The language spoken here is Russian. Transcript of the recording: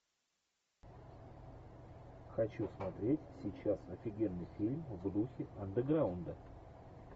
хочу смотреть сейчас офигенный фильм в духе андеграунда